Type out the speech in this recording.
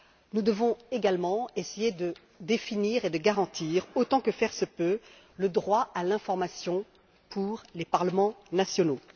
Nous devons également essayer de définir et de garantir, autant que faire se peut, le droit à l'information pour les parlements nationaux.